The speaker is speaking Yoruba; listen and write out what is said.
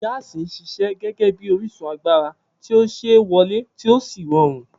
Gaasi ń ṣiṣẹ́ gẹ́gẹ́ bí orísun agbára tí ó ṣe é wọlé tí ó sì rọrùn.